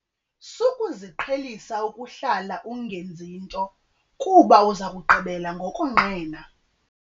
Sukuziqhelisa ukuhlala ungenzi nto kuba uza kugqibela ngokonqena.